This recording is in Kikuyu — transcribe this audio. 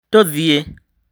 tũthiĩ.